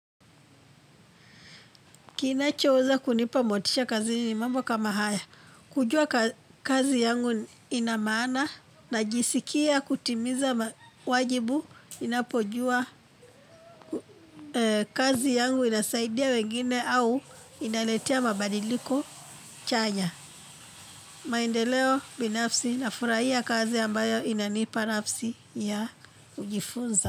Kinachoweza kunipa motisha kazini mambo kama haya, kujua kazi yangu ina maana, najisikia kutimiza wajibu ninapojua kazi yangu inasaidia wengine au inaletea mabadiliko chanya. Maendeleo binafsi nafurahia kazi ambayo inanipa nafasi ya kujifunza.